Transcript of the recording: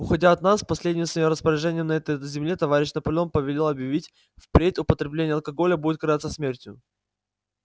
уходя от нас последним своим распоряжением на этой земле товарищ наполеон повелел объявить впредь употребление алкоголя будет караться смертью